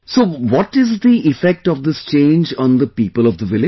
So what is the effect of this change on the people of the village